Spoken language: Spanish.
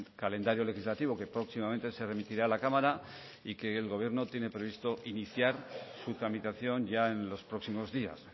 calendario legislativo que próximamente se remitirá a la cámara y que el gobierno tiene previsto iniciar su tramitación ya en los próximos días